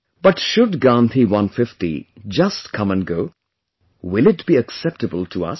But should Gandhi 150 just come & go; will it be acceptable to us